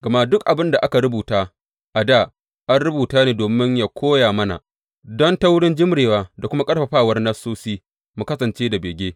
Gama duk abin da aka rubuta a dā an rubuta ne domin yă koya mana, don ta wurin jimrewa da kuma ƙarfafawar Nassosi mu kasance da bege.